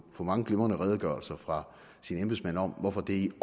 få mange glimrende redegørelser fra sine embedsmænd om hvorfor det